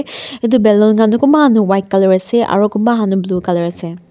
etu ballon khan toh kunba khan toh white colour ase aro kunba khan toh blue colour ase.